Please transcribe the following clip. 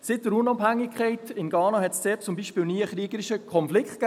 Seit der Unabhängigkeit in Ghana gab es dort zum Beispiel nie einen kriegerischen Konflikt.